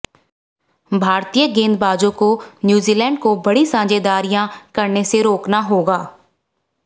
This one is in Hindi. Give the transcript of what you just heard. भारतीय गेंदबाजों को न्यूजीलैंड को बड़ी साझेदारियां करने से रोकना होगा